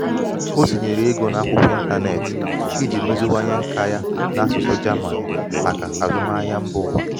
ọ tinyere ego n`akwụkwọ ịntanetị iji meziwanye nka ya n’asụsụ german maka azụmahịa mba ụwa.